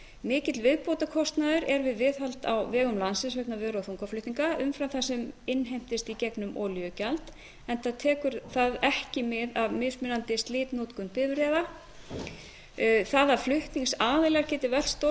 mikill viðbótarkostnaður er við viðhald á vegum landsins vegna vöru og þungaflutninga umfram það sem innheimtist í gegnum olíugjald enda tekur það ekki mið af mismunandi slitnotkun bifreiða það að flutningsaðilar geti flutt stóran